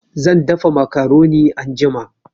Zan dafa macaroni anjima